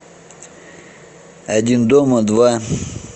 один дома два